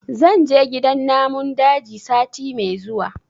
zan je gidan namun daji sati me zuwa